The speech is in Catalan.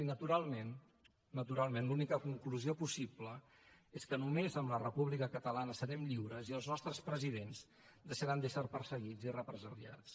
i naturalment naturalment l’única conclusió possible és que només amb la república catalana serem lliures i els nostres presidents deixaran d’ésser perseguits i represaliats